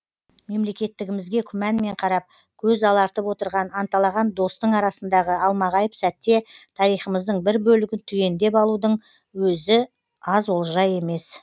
мемлекеттігімізге күманмен қарап көз алартып отырған анталаған достың арасындағы алмағайып сәтте тарихымыздың бір бөлігін түгендеп алудың өзі аз олжа емес